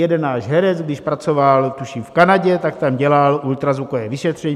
Jeden náš herec, když pracoval tuším v Kanadě, tak tam dělal ultrazvukové vyšetření.